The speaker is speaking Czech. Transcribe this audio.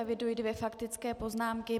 Eviduji dvě faktické poznámky.